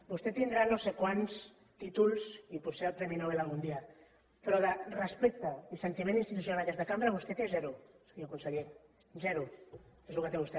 vostè tindrà no sé quants títol i potser el premi nobel algun dia però de respecte i sentiment institucional cap a aquesta cambra vostè en té zero senyor conseller zero és el que té vostè